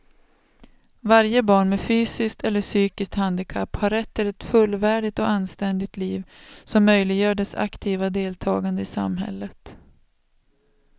Varje barn med fysiskt eller psykiskt handikapp har rätt till ett fullvärdigt och anständigt liv som möjliggör dess aktiva deltagande i samhället.